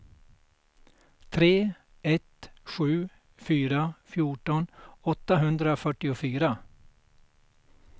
tre ett sju fyra fjorton åttahundrafyrtiofyra